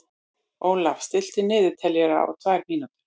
Ólaf, stilltu niðurteljara á tvær mínútur.